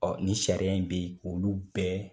Ɔɔ nin sariya in be yen k'olu bɛɛ